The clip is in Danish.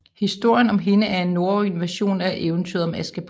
Historien om en hende er en norrøn version af eventyret om Askepot